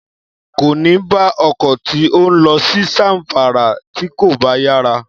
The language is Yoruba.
Kò ní bá ọkọ̀ tí ó ń lọ sí Zamfara tí kò bá yára